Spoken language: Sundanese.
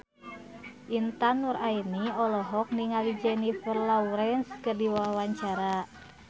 Intan Nuraini olohok ningali Jennifer Lawrence keur diwawancara